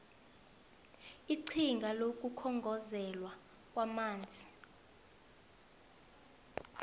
iqhinga lokukhongozelwa kwamanzi